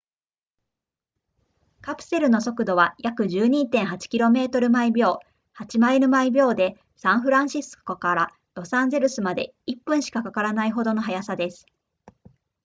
カプセルの速度は約 12.8 km/ 秒8マイル/秒でサンフランシスコからロサンゼルスまで1分しかかからないほどの速さです